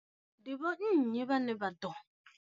Ndi vho nnyi vhane vha ḓo.